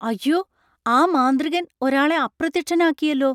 അയ്യോ, ആ മാന്ത്രികൻ ഒരാളെ അപ്രത്യക്ഷനാക്കിയെല്ലോ!